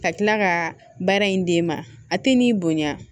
Ka kila ka baara in d'e ma a ti n'i bonya